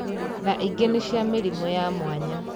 Na ingĩ nĩ cia mĩrimũ ya mwanya